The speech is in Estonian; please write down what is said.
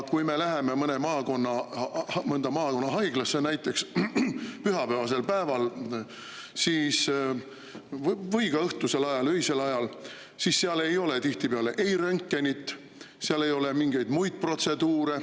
Kui me läheme mõnda maakonnahaiglasse näiteks pühapäevasel päeval või ka õhtusel ajal, öisel ajal, siis seal ei ole tihtipeale röntgenit, seal ei saa teha mingeid muid protseduure.